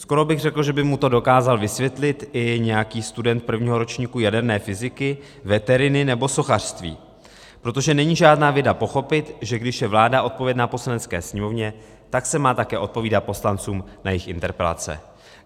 Skoro bych řekl, že by mu to dokázal vysvětlit i nějaký student prvního ročníku jaderné fyziky, veteriny nebo sochařství, protože není žádná věda pochopit, že když je vláda odpovědna Poslanecké sněmovně, tak se má také odpovídat poslancům na jejich interpelace.